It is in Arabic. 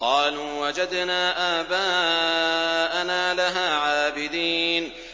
قَالُوا وَجَدْنَا آبَاءَنَا لَهَا عَابِدِينَ